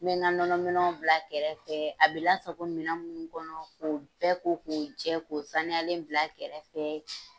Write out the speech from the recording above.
N bɛ na nɔnɔminɛnw bila kɛrɛfɛ a bɛ lasago minɛn minnu kɔnɔ k'o bɛɛ ko k'u jɛ k'u sanuyalen bila kɛrɛfɛ.